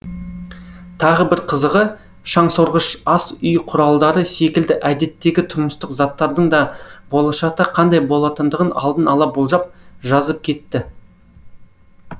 тағы бір қызығы шаңсорғыш ас үй құралдары секілді әдеттегі тұрмыстық заттардың да болашақта қандай болатындығын алдын ала болжап жазып кетті